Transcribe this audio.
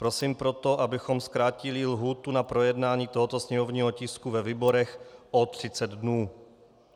Prosím proto, abychom zkrátili lhůtu na projednání tohoto sněmovního tisku ve výborech o 30 dnů.